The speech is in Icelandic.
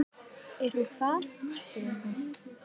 Er hún hvað, spurði